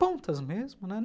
Pontas mesmo, né?